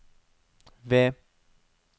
V